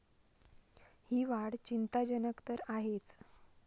ही वाढ चिंताजनक तर आहेच.